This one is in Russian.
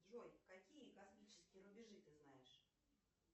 джой какие космические рубежи ты знаешь